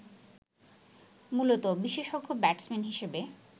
মূলতঃ বিশেষজ্ঞ ব্যাটসম্যান হিসেবে